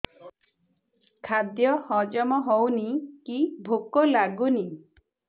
ଖାଦ୍ୟ ହଜମ ହଉନି କି ଭୋକ ଲାଗୁନି